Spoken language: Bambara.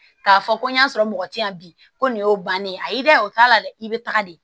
K'a fɔ ko n y'a sɔrɔ mɔgɔ ti yan bi ko nin y'o bannen a y'i da o t'a la dɛ i bɛ taga de